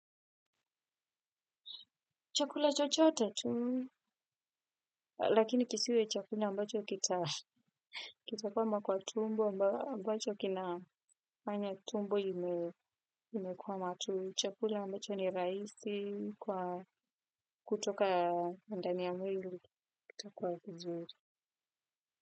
Chakula chochote tu, lakini kisiwe chakula ambacho kita kwama kwa tumbo, ambacho kinafanya tumbo imekuwa matu. Chakula ambacho ni rahisi kwa kutoka ndani ya mwili, kitakuwa kizuri.